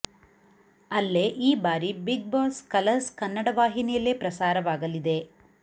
ಅಲ್ಲೇ ಈ ಬಾರಿ ಬಿಗ್ ಬಾಸ್ ಕಲರ್ಸ್ ಕನ್ನಡ ವಾಹಿನಿಯಲ್ಲೇ ಪ್ರಸಾರವಾಗಲಿದೆ